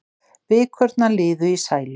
Vikurnar liðu í sælu.